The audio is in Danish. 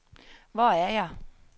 Hvor er jeg